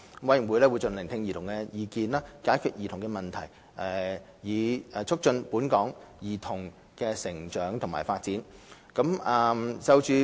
委員會會盡量聆聽兒童的意見，解決兒童的問題，以促進本港兒童的成長及發展。